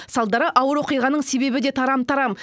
салдары ауыр оқиғаның себебі де тарам тарам